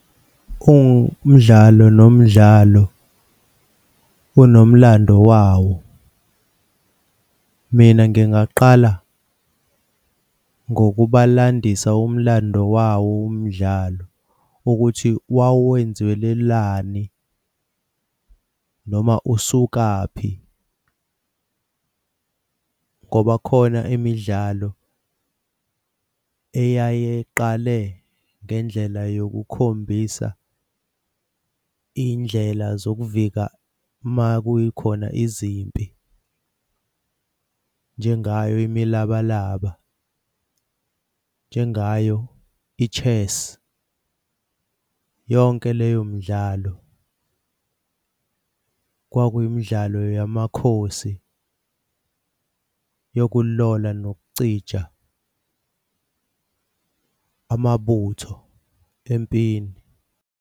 Umdlalo nomdlalo unomlando wawo. Mina ngingaqala ngokubalandisa umlando wawo umdlalo ukuthi wawenzelwelani noma usukaphi, ngoba khona imidlalo eyaye iqale ngendlela yokukhombisa iy'ndlela zokuvika uma kukhona izimpi njengayo imilabalaba, njengayo i-chess, yonke leyo midlalo kwakuyimidlalo yamakhosi yokulola nokucija amabutho empini.